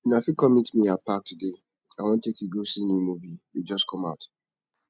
una fit come meet me at park today i wan take you go see new movie wey just come out